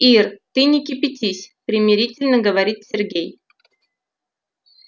ир ты не кипятись примирительно говорит сергей